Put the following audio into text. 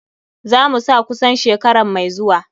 Za mu sa kusan shekaran mai zuwa.